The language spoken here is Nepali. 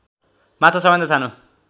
माछा सबैभन्दा सानो